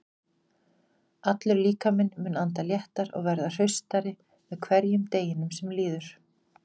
Allur líkaminn mun anda léttar og verða hraustari með hverjum deginum sem líður.